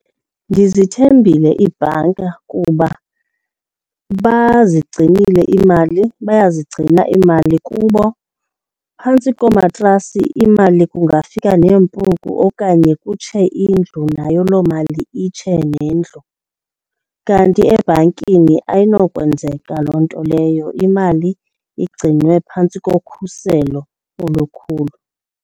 Ndizithembile iibhanka kuba bazigcinile iimali, bayazigcina iimali kubo. Phantsi koomatrasi imali kungafika neempuku okanye kutshe indlu, nayo loo mali itshe nendlu. Kanti ebhankini ayinokwenzeka loo nto leyo, imali igcinwe phantsi ngokhuselo olukhulu.